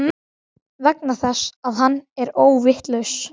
Vegna þess að hann er óvitlaus.